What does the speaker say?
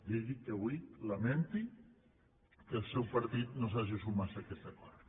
digui que avui lamenti que el seu partit no s’hagi sumat a aquest acord